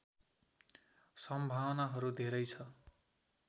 सम्भावनाहरू धेरै छ